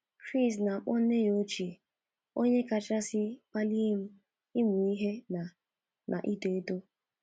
Chris na-akpọ nne ya ochie “ onye kasị kpalie m ịmụ ihe na na ito eto. ”